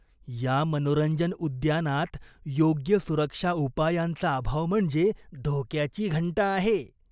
या मनोरंजन उद्यानात योग्य सुरक्षा उपायांचा अभाव म्हणजे धोक्याची घंटा आहे.